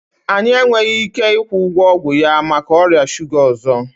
Anyị enweghị ike ịkwụ ụgwọ ọgwụ ya maka ọrịa shuga ọzọ